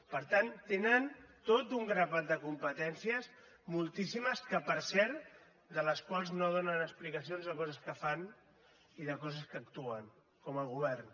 per tant tenen tot un grapat de competències moltíssimes que per cert de les quals no donen explicacions de coses que fan i de coses que actuen com a govern